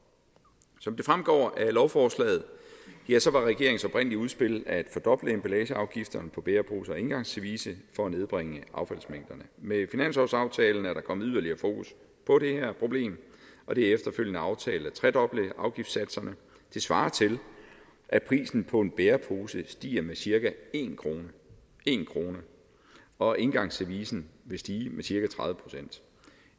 som det fremgår af lovforslaget var regeringens oprindelige udspil at fordoble emballageafgiften på bæreposer og engangsservice for at nedbringe affaldsmængderne med finanslovsaftalen er der kommet yderligere fokus på det her problem og det er efterfølgende aftalt at tredoble afgiftssatserne det svarer til at prisen på en bærepose stiger med cirka en kr og engangsservicen vil stige med cirka tredive procent